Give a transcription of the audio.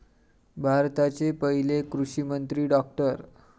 भारताचे पहिले कृषिमंत्री डॉ.